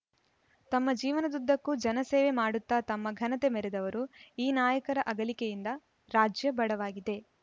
ತಮ್ಮ ಜೀವನದುದ್ದಕ್ಕೂ ಜನಸೇವೆ ಮಾಡುತ್ತಾ ತಮ್ಮ ಘನತೆ ಮೆರೆದವರು ಈ ನಾಯಕರ ಅಗಲಿಕೆಯಿಂದ ರಾಜ್ಯ ಬಡವಾಗಿದೆ